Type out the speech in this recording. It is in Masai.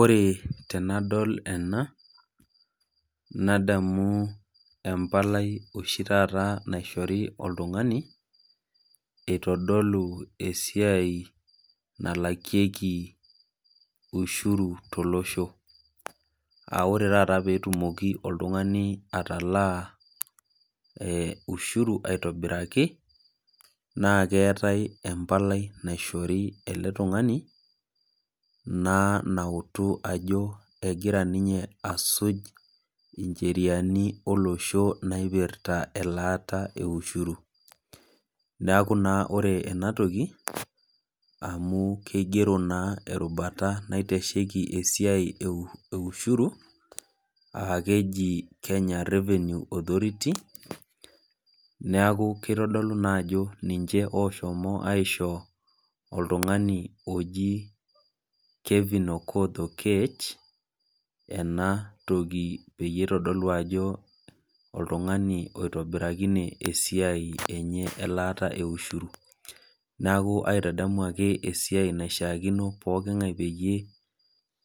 Ore tenadol ena, nadamu empalai oshi taata naishori oltung'ani eitodolu esiai nalakieki ushuru tolosho. Aa ore taata pee etumoki oltung'ani atalaa ushuru aitobiraki, naa keatai empalai nautu ajo egira ninye asuj incheriani olosho naipirta elaata e ushuru, neaku naa ore ena toki, amu keigero naa erubata naitasheiki esiai e ushuru, aa keji Kenya Revenue Authority, neaku keitodolu naa ajo ninche oshomo aisho oltung'ani oji Kevin Okoth Oketch peyie eitodolu ena toki ajo oltung'ani oitobirakine esiai enye elaata e ushuru. Neaku aitadamu ake iyie esiai naishaakino ake iyie pooking'ae peyie